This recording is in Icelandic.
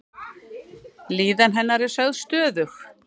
Líðan hennar er sögð stöðug.